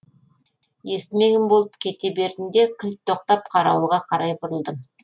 естімеген болып кете бердім де кілт тоқтап қарауылға қарай бұрылдым